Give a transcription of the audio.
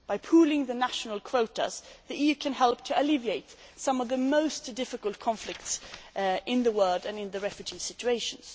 By pooling the national quotas, the EU can help to alleviate some of the most difficult conflicts in the world and in refugee situations.